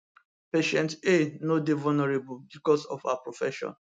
patient a no dey vulnerable becos of her profession